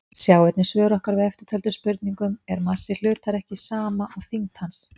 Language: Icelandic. Sjá einnig svör okkar við eftirtöldum spurningum: Er massi hlutar ekki sama og þyngd hans?